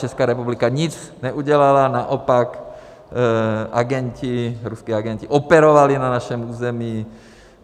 Česká republika nic neudělala, naopak agenti, ruští agenti operovali na našem území.